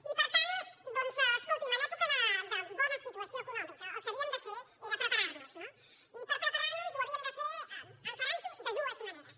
i per tant doncs escoltin en època de bona situació econòmica el que havíem de fer era preparar nos i per preparar nos ho havíem de fer encarant ho de d ues maneres